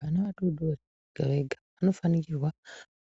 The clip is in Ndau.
Vana vadodori vega vega vanofanikirwa